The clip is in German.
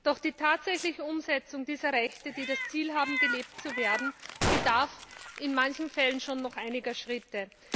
Doch die tatsächliche Umsetzung dieser Rechte, die das Ziel haben, gelebt zu werden, bedarf in manchen Fällen schon noch einiger Schritte.